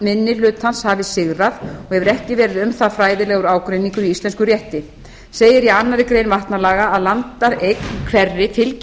minni hlutans hafi sigrað og hefur ekki verið um það fræðilegur ágreiningur í íslenskum rétti segir í annarri grein vatnalaga að landareign hverri fylgir